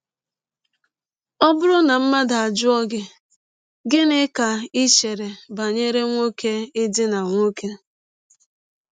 Ọ bụrụ na mmadụ ajụọ gị: “ Gịnị ka i chere banyere nwọke ịdina nwọke? ”